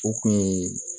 O kun ye